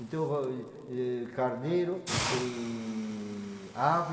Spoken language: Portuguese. Então, carneiro, tem ave,